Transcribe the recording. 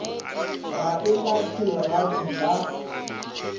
ga e lahle legapi la